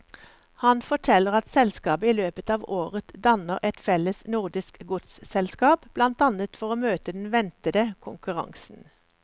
Han forteller at selskapet i løpet av året danner et felles nordisk godsselskap, blant annet for å møte den ventede konkurransen.